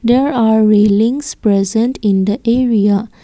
there are rainings present in the area.